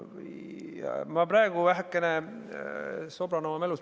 Ma praegu vähekene sobran oma mälus.